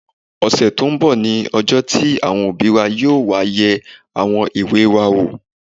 Ọ̀sẹ̀ tó n bọ̀ ní ọjọ́ tí àwọn òbí wa yóò wá yẹ àwọn ìwé wa wò